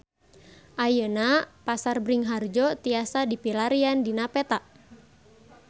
Ayeuna Pasar Bringharjo tiasa dipilarian dina peta